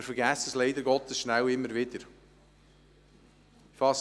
Wir vergessen es leider Gottes immer wieder schnell.